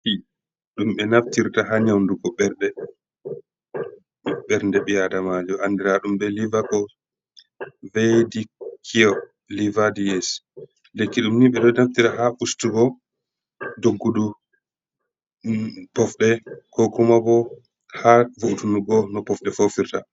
Lekki ɗum ɓe naftirta ha nyaudugo ɓernde ɓi adamajo andira ɗum be liva ko vediko liva ds, lekki ɗum ni ɓe ɗo naftira ha ustugo doggungo pofɗe ko kuma ɓo ha vo’utunugo no pofɗe fofirta.